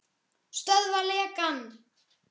Stöðva lekann.